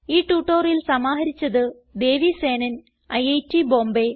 ഈ ട്യൂട്ടോറിയൽ സമാഹരിച്ചത് ദേവി സേനൻ ഐറ്റ് ബോംബേ